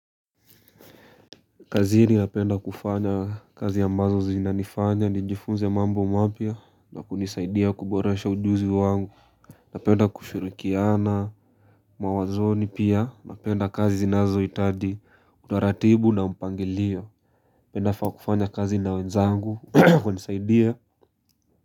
Kazini napenda kufanya kazi ambazo zinanifanya, nijifunze mambo mapya na kunisaidia kuboresha ujuzi wangu. Napenda kushirikiana, mawazoni pia, napenda kazi zinazohitaji, utaratibu na mpangilio. Ninafaa kufanya kazi na wenzangu, hunisaidia.